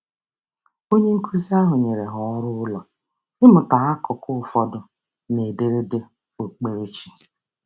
Onyenkụzi ahụ nyere ha ọrụụlọ ịmụta akụkụ ụfọdụ n'ederede okpukperechi.